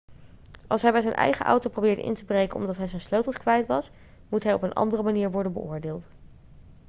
als hij bij zijn eigen auto probeerde in te breken omdat hij zijn sleutels kwijt was moet hij op een andere manier worden beoordeeld